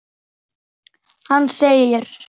Hann segir